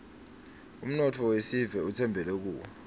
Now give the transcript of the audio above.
umnotfo wesive utsembele kuwe